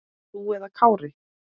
Þú eða Kári?